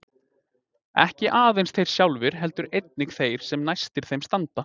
Ekki aðeins þeir sjálfir heldur einnig þeir sem næstir þeim standa.